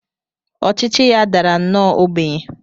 Ọchịchị ya dara nnọọ ogbenye.